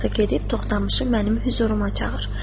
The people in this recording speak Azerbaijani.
Sonra da gedib Toxtamışı mənim hüzuruma çağır.